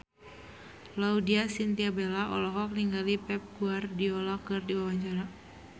Laudya Chintya Bella olohok ningali Pep Guardiola keur diwawancara